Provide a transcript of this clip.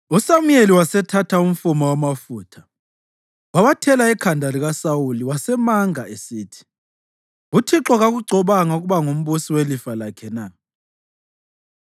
USamuyeli wasethatha umfuma wamafutha wawathela ekhanda likaSawuli wasemanga, esithi, “ Uthixo kakugcobanga ukuba ngumbusi welifa lakhe na?